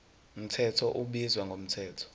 mthetho ubizwa ngomthetho